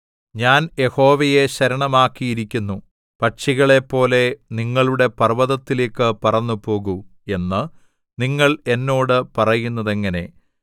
ഞാൻ യഹോവയെ ശരണമാക്കിയിരിക്കുന്നു പക്ഷികളേപ്പോലെ നിങ്ങളുടെ പർവ്വതത്തിലേക്ക് പറന്നുപോകൂ എന്ന് നിങ്ങൾ എന്നോട് പറയുന്നതെങ്ങനെ